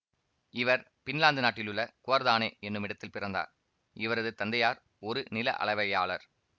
இவர் பின்லாந்து நாட்டிலுள்ள குவொர்தானே என்னுமிடத்தில் பிறந்தார் இவரது தந்தையார் ஒரு நில அளவையாளர்